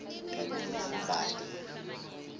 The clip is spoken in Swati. mbali